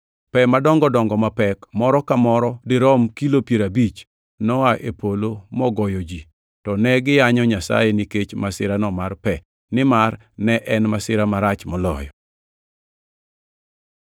Pe madongo dongo ma pek moro ka moro dirom kilo piero abich, noa e polo mogoyo ji. To ne giyanyo Nyasaye nikech masirano mar pe, nimar ne en masira marach moloyo!